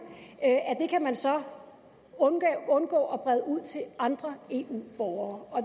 kan man så undgå at brede ud til andre eu borgere